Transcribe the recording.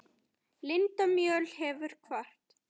Linda Mjöll hefur kvatt.